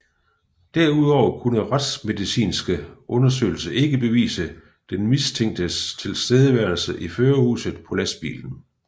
Derudover kunne retsmedicinske undersøgelser ikke bevise den mistænktes tilstedeværelse i førerhuset på lastbilen